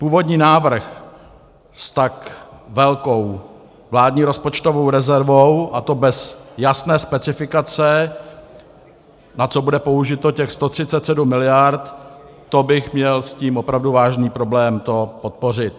Původní návrh s tak velkou vládní rozpočtovou rezervou, a to bez jasné specifikace, na co bude použito těch 137 miliard, to bych měl s tím opravdu vážný problém to podpořit.